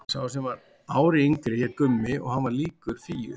Sá sem var ári yngri hét Gummi og hann var líkur Fíu.